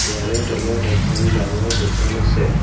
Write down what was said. ইয়াৰে তলত এখন ডাঙৰ দোকান আছে।